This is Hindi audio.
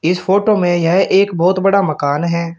इस फोटो में यह एक बहोत बड़ा मकान है।